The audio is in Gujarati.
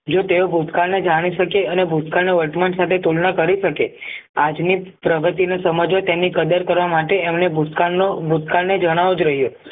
જો તેઓ ભૂતકાળને જાણી શકે અને ભૂતકાળના વર્તમાન સાથે તુલના કરી શકે આજની પ્રગતિને સમજવો તેની કદર કરવા માટે એમને ભૂતકાળનો ભૂતકાળ ને જણાવવો જ જોઈએ